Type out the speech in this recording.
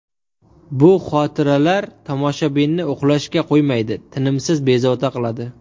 Bu xotiralar tomoshabinni uxlashga qo‘ymaydi, tinimsiz bezovta qiladi.